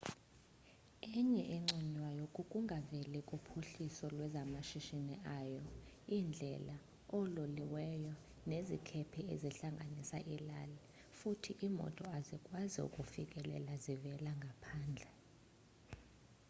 enye enconywayo kukungaveli kophuhliso lwezamashishini ayo iindlela oololiweo nezikhephe zihlanganisa iilali futhi iimoto azikwazi ukufikelela zivela ngaphandle